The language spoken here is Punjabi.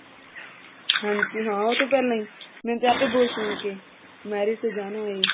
ਹਾਂਜੀ ਹਾਂ ਉਹ ਤੇ ਪਹਿਲਾਂ ਹੀ ਮੈਨੂੰ ਤੇ ਏਪੀ ਬਹੁਤ ਸ਼ੋਂਕ ਹੈ marriage ਤੇ ਜਾਨੁ ਹੈ